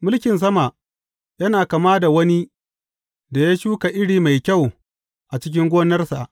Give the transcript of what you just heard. Mulkin sama yana kama da wani da ya shuka iri mai kyau a cikin gonarsa.